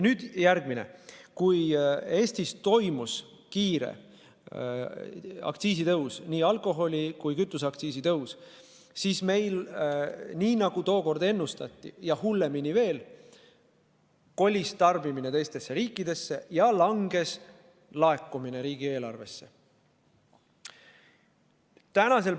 Nüüd järgmiseks: kui Eestis toimus kiire aktsiisitõus, nii alkoholi- kui kütuseaktsiisi tõus, siis, nagu tookord ennustati ja hullemini veel, kolis tarbimine teistesse riikidesse ja laekumised riigieelarvesse langesid.